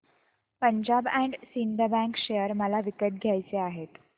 Punjab and Sind bank share मला विकत घ्यायचे आहेत